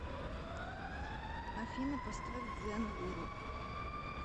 афина поставь дзэн гуру